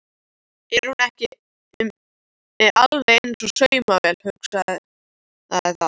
Er hún ekki alveg eins og saumavél, hugsaði það.